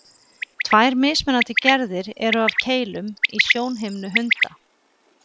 tvær mismunandi gerðir eru af keilum í sjónhimnu hunda